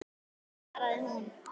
svaraði hún.